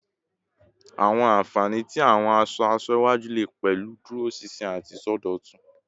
Awọn anfani ti awọn aṣọ-aṣọ iwaju le pẹlu iduroṣinṣin ati isọdọtun